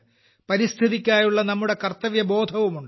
പരിസ്ഥിതിക്കായുള്ള നമ്മുടെ കർത്തവ്യബോധവുമുണ്ട്